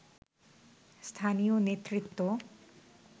স্থানীয় নেতৃত্ব